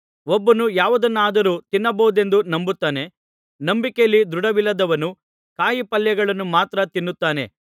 ಒಬ್ಬನು ಯಾವುದನ್ನಾದರೂ ತಿನ್ನಬಹುದೆಂದು ನಂಬುತ್ತಾನೆ ನಂಬಿಕೆಯಲ್ಲಿ ದೃಢವಿಲ್ಲದವನು ಕಾಯಿಪಲ್ಯಗಳನ್ನು ಮಾತ್ರ ತಿನ್ನುತ್ತಾನೆ